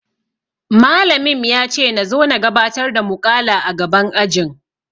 Malamim yace nazo na gabatar da muƙala a gaban ajin.